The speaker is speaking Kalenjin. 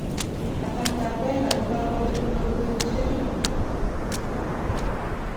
Kasrtab Wenger kokakobek kobeku betushek chu.